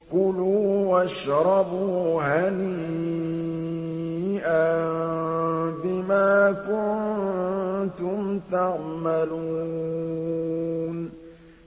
كُلُوا وَاشْرَبُوا هَنِيئًا بِمَا كُنتُمْ تَعْمَلُونَ